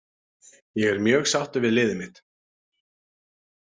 Ég er mjög sáttur við liðið mitt.